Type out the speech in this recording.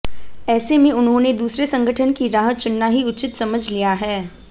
ऐसे में उन्होंने दूसरे संगठन की राह चुनना ही उचित समझ लिया है